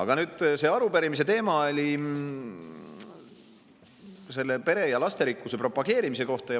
Aga nüüd, see arupärimise teema oli pere ja lasterikkuse propageerimise kohta.